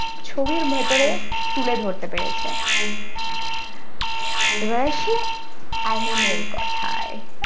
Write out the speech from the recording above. ছবির ভিতরে তুলে ধরতে পেরেছে এবার আসি anime এর কথায়।